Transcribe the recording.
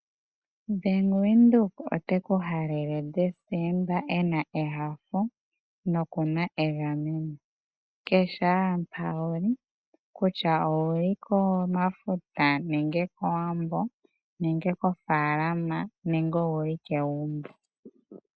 Bank windhoek oteku halele decemba ena ehafo nokuna egameno kehe owala mpa wuli kutya owuli komafuta nenge kowambo nenge kofalama nenge owuli kegumbo.